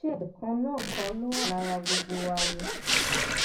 ṣe ẹjẹ kan náà kọ ló wà lára gbogbo wa ni